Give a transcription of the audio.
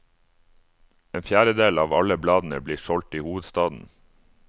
En fjerdedel av alle bladene blir solgt i hovedstaden.